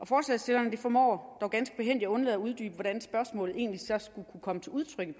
forslagsstillerne formår dog ganske behændigt at undlade at uddybe hvordan spørgsmålet egentlig som skulle kunne komme til udtryk i